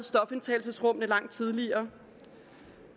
stofindtagelsesrum langt tidligere